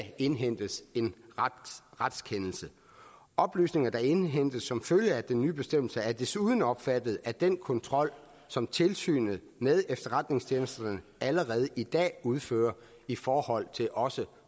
indhentes en retskendelse oplysninger der indhentes som følge af den nye bestemmelse er desuden omfattet af den kontrol som tilsynet med efterretningstjenesterne allerede i dag udfører i forhold til også